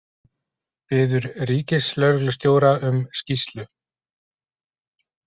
Biður ríkislögreglustjóra um skýrslu